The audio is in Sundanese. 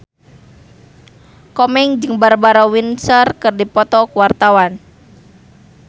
Komeng jeung Barbara Windsor keur dipoto ku wartawan